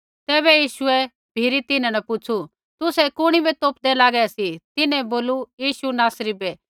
तैबै यीशुऐ भी तिन्हां न पुछ़ू तुसै कुणी बै तोपदै लागै सी तिन्हैं बोलू यीशु नासरी बै